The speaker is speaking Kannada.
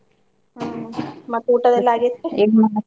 ಹ್ಮ್ ಮತ್ತ್ ಊಟದು ಎಲ್ಲಾ ?